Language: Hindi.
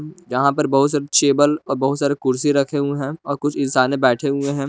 यहां पर बहुत से चेबल और बहुत सारे कुर्सी रखे हुए हैं और कुछ इंसाने बैठे हुए हैं।